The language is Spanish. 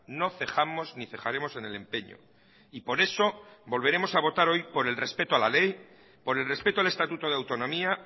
no cejamos ni cejaremos en el empeño y por eso volveremos a votar hoy por el respeto a la ley por el respeto al estatuto de autonomía